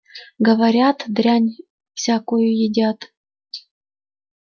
говорят дрянь всякую едят